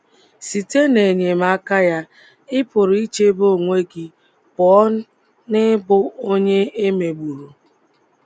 Site n’enyemaka ya, ị pụrụ ichebe onwe gị pụọ n’ịbụ onye e megburu.